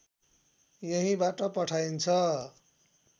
यहीँबाट पठाइन्छ